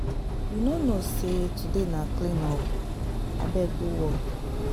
You no know say today na clean up, abeg go work.